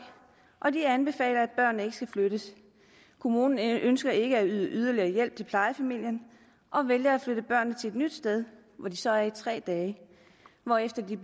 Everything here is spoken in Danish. og de anbefaler at børnene ikke skal flyttes kommunen ønsker ikke at yde yderligere hjælp til plejefamilien og vælger at flytte børnene til et nyt sted hvor de så er i tre dage hvorefter de